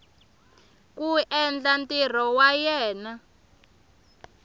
ku endla ntirho wa yena